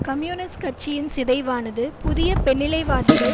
communist கட்சியின் சிதைவானது புதிய பெண்ணிலைவாதிகள்